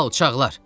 Alçaqlar!